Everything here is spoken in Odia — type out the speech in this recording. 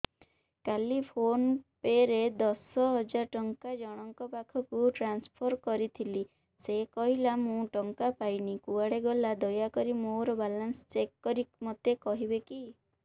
କାଲି ଫୋନ୍ ପେ ରେ ଦଶ ହଜାର ଟଙ୍କା ଜଣକ ପାଖକୁ ଟ୍ରାନ୍ସଫର୍ କରିଥିଲି ସେ କହିଲା ମୁଁ ଟଙ୍କା ପାଇନି କୁଆଡେ ଗଲା ଦୟାକରି ମୋର ବାଲାନ୍ସ ଚେକ୍ କରି ମୋତେ କହିବେ କି